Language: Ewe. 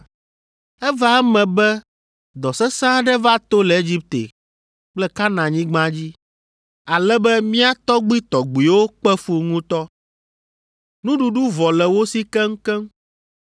“Eva eme be dɔ sesẽ aɖe va to le Egipte kple Kananyigba dzi, ale be mía tɔgbuitɔgbuiwo kpe fu ŋutɔ. Nuɖuɖu vɔ le wo si keŋkeŋ.